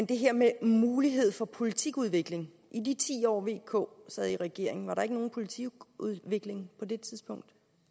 det her med mulighed for politikudvikling i de ti år v k sad i regering var der ikke nogen politikudvikling på det tidspunkt